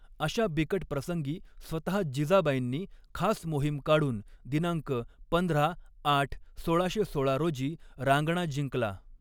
अशा बिकट प्रसंगी स्वतहा जिजाबाईंनी खास मोहिम काढून दिनांक पंधरा आठ सोळाशे सोळा रोजी रांगणा जिंकला.